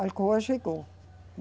A Alcoa chegou.